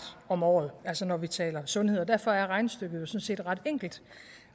om året altså når vi taler sundhed og derfor er regnestykket jo sådan set ret enkelt